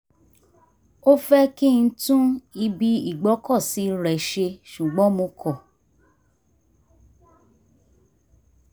ó fẹ́ kí n tún ibi ìgbọ́kọ̀sí rẹ̀ ṣe ṣùgbọ́n mo kọ́